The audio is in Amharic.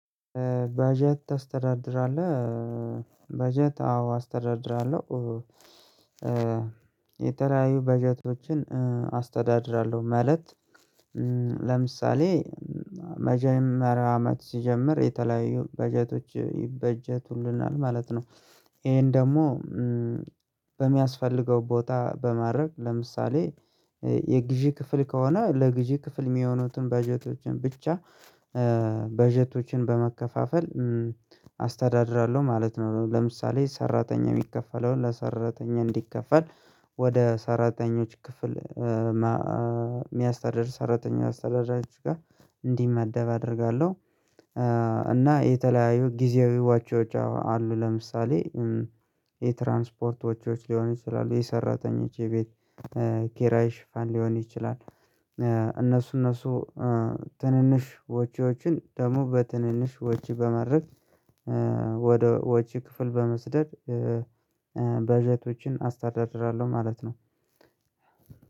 በጀት ታስተዳድራለህ በጀት አዎ አስተዳድራለሁ። የተለያዩ በጀቶችን አስተዳድራለሁ ማለት ለምሳሌ መጀመሪያ አመት ስጀምር የተለያዩ በጀቶች ይበጀቱልናል ማለት ነው። ይሄን ደግሞ በሚያስፈልገው ቦታ በማድረግ ለምሳሌ የግዥ ክፍል ከሆነ ለግዥ ክፍል የሚሆኑትን በጀቶችን ብቻ በጀቶችን በመከፋፈል አስተዳድራለሁ ማለት ነው። ለምሳሌ ሰራተኛ የሚከፈለውን ለሰራተኛ እንዲከፈል ወደ ሰራተኞች ክፍል የሚያስተዳድር ሰራተኞች አስተዳዳሪዎች ጋር እንዲመደብ አደርጋለሁ። እና የተለያዩ ጊዜያዊዎቹ ወጪዎች አሉ ለምሳሌ የትራንስፖርቶች ሊሆን ይችላል የሰራተኞች የቤት ኬራይ ሽፋን ሊሆን ይችላል። እነሱ እነሱ ትንንሽ ወጭዎችን ደግሞ በትንንሽ ወጭ በማድረግ ወደ ወጪ ክፍል በመስደድ በጀቶችን አስተዳድራለሁ ማለት ነው።